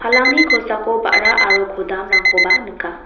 kosako ba·ra aro kodam-rangkoba nika.